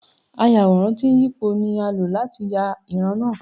Ayàwòrán tí ń yípo ni a lò láti yà ìran náà.